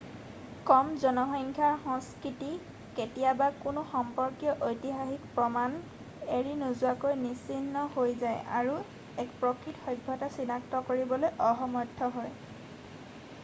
কম জনসংখ্যাৰ সংস্কৃতি কেতিয়াৱা কোনো সম্পৰ্কীয় ঐতিহাসিক প্ৰমাণ এৰি নোযোৱাকৈ নিঃচিহ্ন হৈ যায় আৰু এক প্ৰকৃত সভ্যতা চিনাক্ত কৰিবলৈ অসমৰ্থ হয়